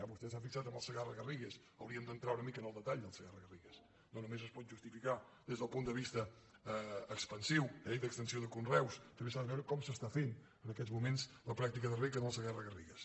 vostè s’ha fixat en el segarra garrigues hauríem d’entrar una mica en el detall del segarra garrigues no només es pot justificar des del punt de vista expansiu i d’extensió de conreus també s’ha de veure com s’està fent en aquests moments la pràctica de reg en el segarra garrigues